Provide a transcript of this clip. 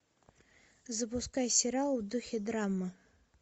запускай сериал в духе драмы